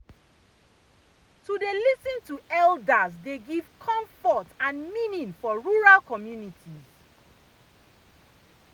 to dey lis ten to elders dey give comfort and meaning for rural communities